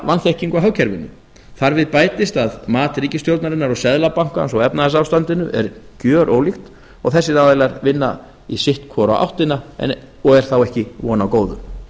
vanþekkingu á hagkerfinu þar við bætist að mat ríkisstjórnarinnar og seðlabankans á efnahagsástandinu er gjörólíkt og þessir aðilar vinna í sitt hvora a áttina og er þá ekki von á góðu